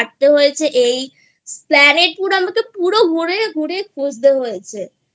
হয়েছে এই Esplanade আমাকে পুরো ঘুরে ঘুরে খুঁজতে হয়েছেI